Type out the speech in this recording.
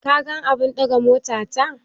Ka gan abun daga mota ta?